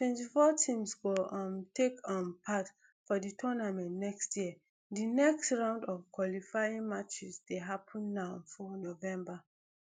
twenty-four teams go um take um part for di tournament next year di next round of qualifying matches dey happun now for november